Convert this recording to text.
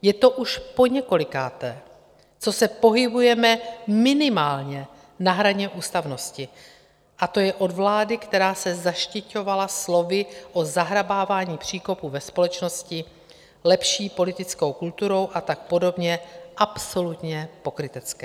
Je to už poněkolikáté, co se pohybujeme minimálně na hraně ústavnosti, a to je od vlády, která se zaštiťovala slovy o zahrabávání příkopu ve společnosti lepší politickou kulturou a tak podobně, absolutně pokrytecké.